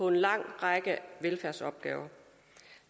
en lang række velfærdsopgaver